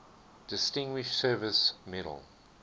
distinguished service medal